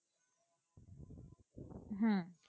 হ্যাঁ